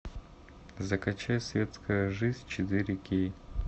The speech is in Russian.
закачай светская жизнь четыре кей